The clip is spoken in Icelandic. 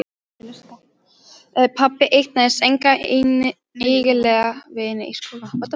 Pabbi eignaðist enga eiginlega vini í skóla.